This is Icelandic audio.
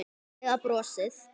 Eða brosið?